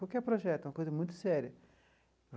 Qualquer projeto é uma coisa muito séria.